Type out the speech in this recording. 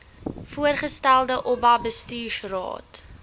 voorgestelde oba bestuursraad